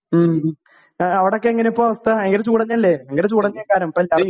ഉം ഏ അവിടൊക്കെ എങ്ങനെ അവസ്ഥ ഭയങ്കര ചൂടെന്നല്ലെ ഭയങ്കര ചൂടാന്നേക്കാരം ഇപ്പെല്ലാ.